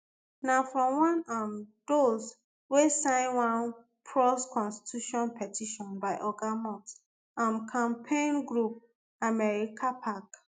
na from one um those wey sign one prous constitution petition by oga musk um campaign group americapac